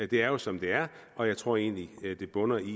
det er jo som det er og jeg tror egentlig det bunder i